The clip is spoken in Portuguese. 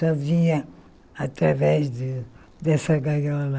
Só via através de dessa gaiola.